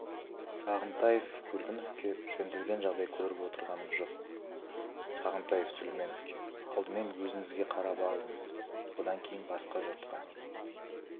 сағынтаев көлгіновке жөнделген жағдайды көріп отырғанымыз жоқ сағынтаев сүлейменовке алдымен өзіңізге қараңыз одан кейін басқа жұртқа